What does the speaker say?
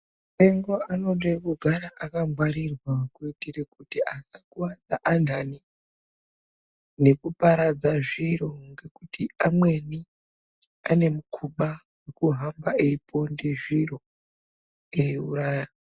Apengo anode kugara akangwarirwa kuitire kuti akakuwadza antani nekuparadza zviro nekuti amweni anemukhuba wekuhamba eiponde zviro eiuraya.